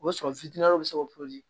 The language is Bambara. O b'a sɔrɔ bɛ se ka